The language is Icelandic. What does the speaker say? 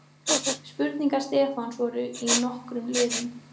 Spurningar Stefáns voru í nokkrum liðum.